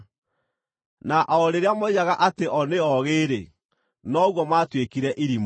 Na o rĩrĩa moigaga atĩ o nĩ oogĩ-rĩ, noguo maatuĩkire irimũ,